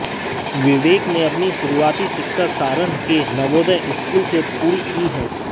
विवेक ने अपनी शुरुआती शिक्षा सारण के नवोदय स्कूल से पूरी की है